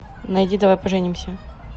найди давай поженимся